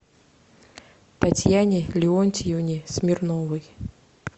татьяне леонтьевне смирновой